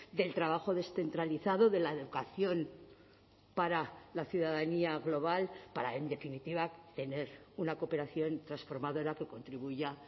del trabajo descentralizado de la educación para la ciudadanía global para en definitiva tener una cooperación transformadora que contribuya